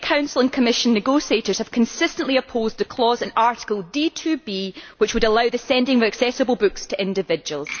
To date, the Council and Commission negotiators have consistently opposed the clause in Article D which would allow the sending of accessible books to individuals.